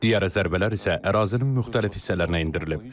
Digər zərbələr isə ərazinin müxtəlif hissələrinə endirilib.